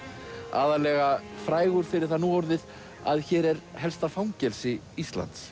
aðallega frægur fyrir það núorðið að hér er helsta fangelsi Íslands